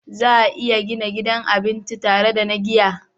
Za a iya gina gidan cin abinci tare da na giya